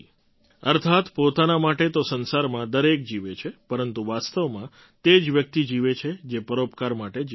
અર્થાત્ પોતાના માટે તો સંસારમાં દરેક જીવે છે પરંતુ વાસ્તવમાં તે જ વ્યક્તિ જીવે છે જે પરોપકાર માટે જીવે છે